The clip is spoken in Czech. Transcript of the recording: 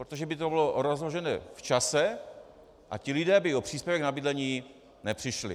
Protože by to bylo rozložené v čase a ti lidé by o příspěvek na bydlení nepřišli.